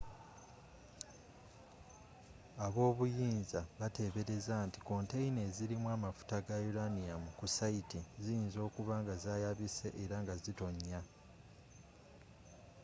ab'obuyinza bateebereza nti konteyina ezirimu amafuta ga uranium ku sayiti ziyinza okuba nga zayabise era nga zitonya